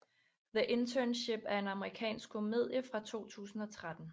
The Internship er en amerikansk komedie fra 2013